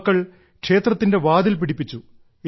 യുവാക്കൾ ക്ഷേത്രത്തിൽ വാതിൽ പിടിപ്പിച്ചു